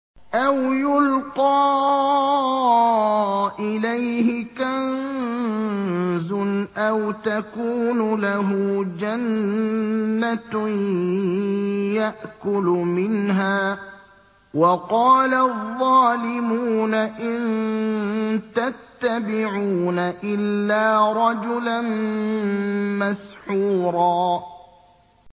أَوْ يُلْقَىٰ إِلَيْهِ كَنزٌ أَوْ تَكُونُ لَهُ جَنَّةٌ يَأْكُلُ مِنْهَا ۚ وَقَالَ الظَّالِمُونَ إِن تَتَّبِعُونَ إِلَّا رَجُلًا مَّسْحُورًا